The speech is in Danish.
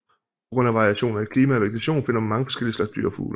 På grund af variationer i klima og vegetation finder man mange forskellige slags dyr og fugle